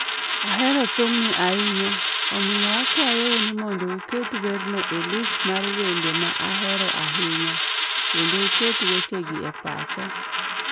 Ahero thumni ahinya, omiyo akwayou ni uket werno e list mar wende ma ahero ahinya, kendo uket wechegi e pacha.